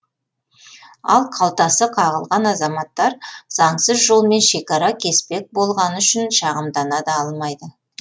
ал қалтасы қағылған азаматтар заңсыз жолмен шекара кеспек болғаны үшін шағымдана да алмайды